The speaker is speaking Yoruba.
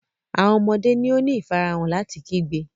Awọn ọmọde ni o ni ifarahan lati kigbe.